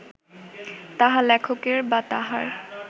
তাহা লেখকের বা তাঁহার